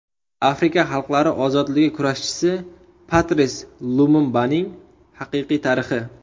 Afrika xalqlari ozodligi kurashchisi Patris Lumumbaning haqiqiy tarixi.